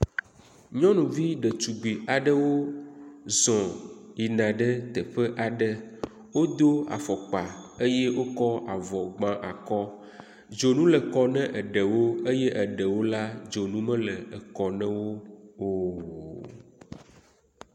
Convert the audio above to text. Nyɔnuvi ɖetugbi aɖewo zɔ yina ɖe teƒe aɖe. wodo afɔkpa eye wokɔ avɔ gba akɔ. Dzonu le kɔ na eɖewo eye eɖewo la dzonu mele ekɔ na wo o.